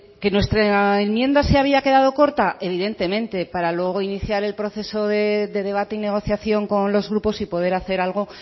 que nuestra enmienda se había quedado corta evidentemente para luego iniciar el proceso de debate y negociación con los grupos y poder hacer algo